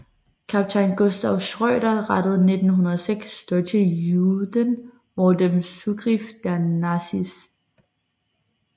Kapitän Gustav Schröder rettet 906 deutsche Juden vor dem Zugriff der Nazis